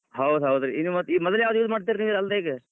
ಹೌದ್ ಹೌದ್ ರೀ ಇದ್ ಮೊದಲ್ ಯಾವ್ದ್ use ಮಾಡ್ತಿದ್ರೀ ನೀವ್ ಅಲ್ಲ್ಡ್ ಈಗ?